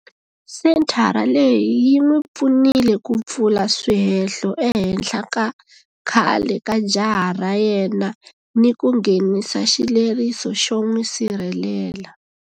Senthara leyi yi n'wi pfunile ku pfula swihehlo ehenhla ka khale ka jaha ra yena ni ku nghenisa xileriso xo n'wi sirhelela.